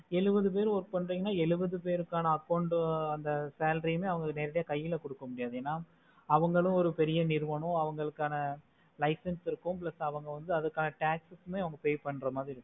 எழுவது பேர் work பன்றிங்கனா எழுவது பேர்ககவும் account அந்த salary அவங்க direct ஆஹ் கைல குடுக்க முடியாது என அவங்களோ ஒரு பெரிய நிர்வாணம் அவங்களுக்கான licence இருக்கும் plus அவங்க வந்து அதுக்கான cash pay பண்றத மாதிரி இருக்கும்